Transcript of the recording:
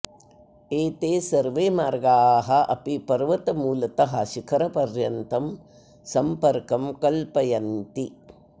एते सर्वे मार्गाः अपि पर्वतमूलतः शिखरपर्यन्तं सम्पर्कं कल्पयन्ति